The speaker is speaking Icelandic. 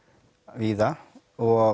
víða og